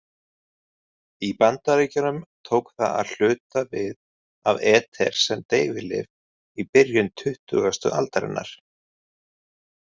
Í Bandaríkjunum tók það að hluta við af eter sem deyfilyf í byrjun tuttugustu aldarinnar.